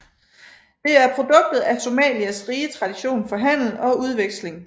Det er produktet af Somalias rige tradition for handel og udveksling